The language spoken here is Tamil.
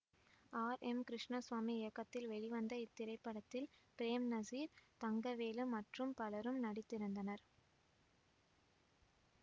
ஆர் எம் கிருஷ்ணசாமி இயக்கத்தில் வெளிவந்த இத்திரைப்படத்தில் பிரேம்நசீர் தங்கவேலு மற்றும் பலரும் நடித்திருந்தனர்